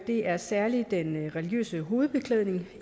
det er særligt den religiøse hovedbeklædning